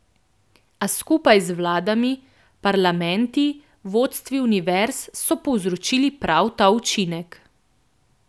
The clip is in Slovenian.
A skupaj z vladami, parlamenti, vodstvi univerz so povzročili prav ta učinek.